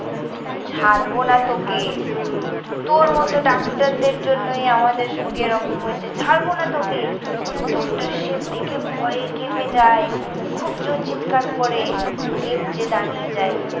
ছাড়ব না তোকে। তোর মতো ডাক্তারদের জন্যই আমাদের সঙ্গে এই রকম হয়েছে। ছাড়ব না তোকে। ডক্টর শিব দেখে ভয়ে কেঁপে যায়। খুব জোর চিৎকার করে। লিফট যে দাঁড়িয়ে যায়।